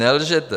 Nelžete!